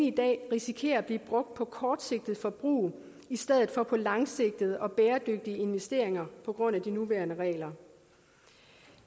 i dag risikerer at pengene bliver brugt på kortsigtet forbrug i stedet for på langsigtede og bæredygtige investeringer på grund af de nuværende regler